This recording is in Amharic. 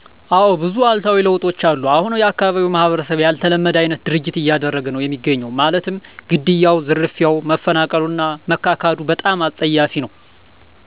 እዎ ብዙ እሉታዊ ለውጦች አሉ እሁን የአካባቢው ማህበረሰብ ያልተለመደ አይነት ድርጊት እያደረገ ነው እሚገኘው ማለትም ግድያው፣ ዝርፊያው፣ መፈናቀሉ እና መካካዱ በጣም አፀያፊ ነው።